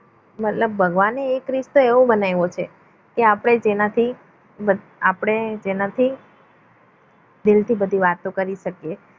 મતલબ ભગવાને એક રસ્તો એવો બનાવ્યો છે કે આપણે જેનાથી કે આપણે જેનાથી દિલથી બધી વાતો કરી શકીએ